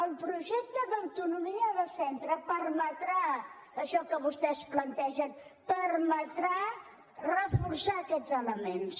el projecte d’autonomia de centre permetrà això que vostès plantegen permetrà reforçar aquests elements